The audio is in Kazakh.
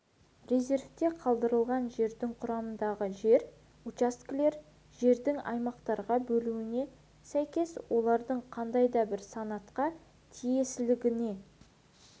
резервте қалдырылған жердің құрамындағы жер учаскелері жердің аймақтарға бөлінуіне сәйкес олардың қандай да бір санатқа тиесілігіне